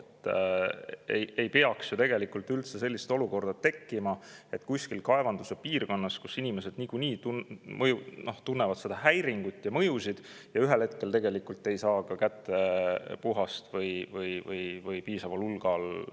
Tegelikult ei peaks ju üldse sellist olukorda tekkima, et kuskil kaevanduse piirkonnas, kus inimesed niikuinii tunnevad häiringut ja mõjusid, nad ühel hetkel ei saa enam kätte puhast joogivett või ei saa seda piisaval hulgal.